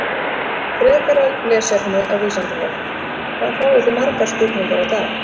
Frekara lesefni af Vísindavefnum: Hvað fáið þið margar spurningar á dag?